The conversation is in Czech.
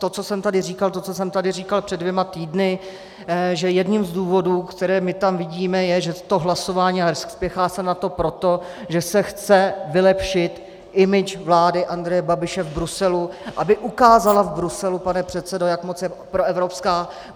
To, co jsem tady říkal, to, co jsem tady říkal před dvěma týdny, že jedním z důvodů, které my tam vidíme, je, že to hlasování, a spěchá se na to proto, že se chce vylepšit image vlády Andreje Babiše v Bruselu, aby ukázala v Bruselu, pane předsedo, jak moc je proevropská.